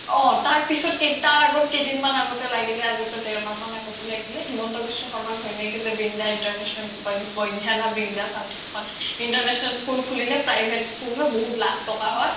অ তাৰ পিছত অ তাৰ আগত কেইদিনমান আগত লাগিলে আজিপৰা দেৰ মাহ মান আগত লাগিলে শৰ্মাৰ ঘৈনিয়েকয়ে যে বৃন্দা international বধিয়া নে বৃন্দা something international school খোলিলে private school হয় বহুত লাখ টকা হয়